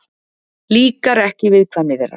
Líkar ekki viðkvæmni þeirra.